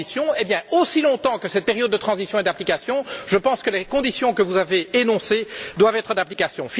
Eh bien, aussi longtemps que cette période de transition est en vigueur, je pense que les conditions que vous avez énoncées doivent être d'application.